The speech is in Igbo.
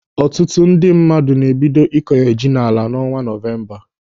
Ọtụtụ ndị mmadụ na-ebido ịkọnye ji n'ala n'ọnwa Nọvemba.